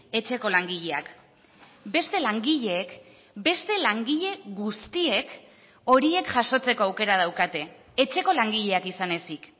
etxeko langileak beste langileek beste langile guztiek horiek jasotzeko aukera daukate etxeko langileak izan ezik